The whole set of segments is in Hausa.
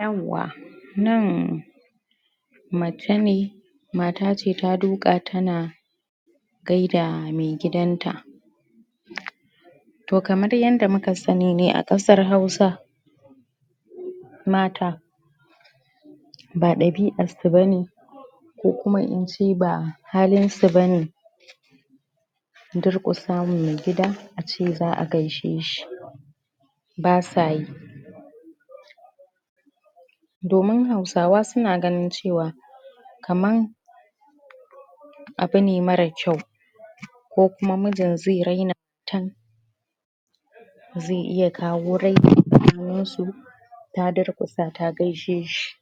yauwa nan mace ne matace ta duka tana gaida mai gidan ta to kamar yanda muka sani ne a kasar hausa mata ba dabi'ar su bane ko kuma ince bahalin su bane durkusa ma mai gida a gaishe shi basayi domin hausawa suna ganin cewa kamar abune marar kyau ko kuma mijin zai raina ta zai iya kawo raini a tsakanin su ta durkusa ta gaishe shi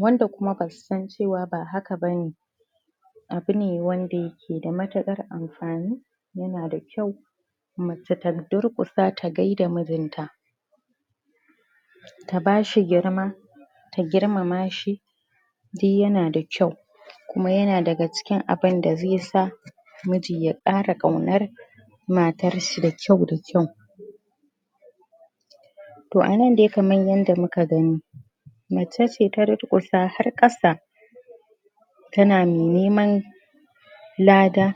wanda kuma basu san cewa ba haka bane abune wanda yake da matukar amfani yana da kyau mace ta durkusa ta gaida mijinta ta bashi girma ta girmama shi duk yana da kyau kuma yana daga cikin abinda zai sa miji ya kara kaunar matarshi da kyau da kyau to anan dai kamar yanda muka gani macece ta durkusa har kasa tana neman lada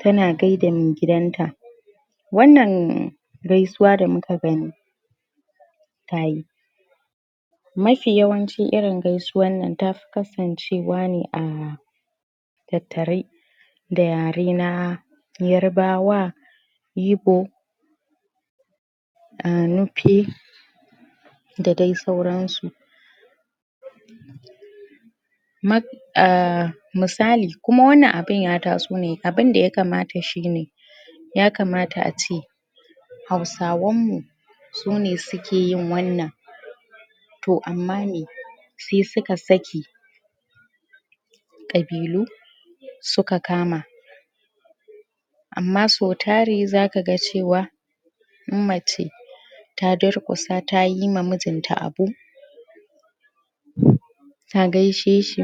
tana gida mai gidanta wannan gasuwa da muka gani tayi mafi yawancin irin gaisuwar nan tafi kasancewa ne a tattare da yare na yarabawa ibo a nufe da dai sauran su ah misali kuma wannan abun ya taso ne abinda ya kamata shine ya kamata ace hausawan mu sune sukeyin wannan to amma me sai suka saki kabilu suka kama amma sau tari zakaga cewa in mace ta durkusa tayi ma mijinta abu ta gaishe shi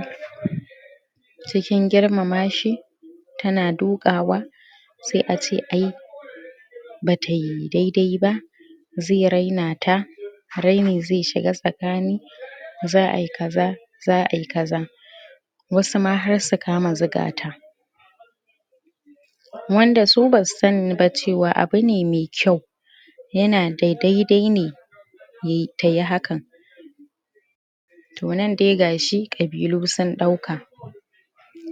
cikin girmama shi tana dukawa sai ace ai batai dai dai ba zai raina ta raini zai shiga tsakani za'ai kaza za'ai kaza wasu na har su kana zuga ta wanda su basu sani ba cewa abune mai kyau yana dai dai ne tayi hakan to nan dai gashi kabilu sun dauka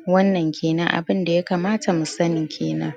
wannan kenan abinda ya kamata mu sani kenan